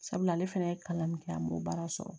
Sabula ale fana ye kalan min kɛ an b'o baara sɔrɔ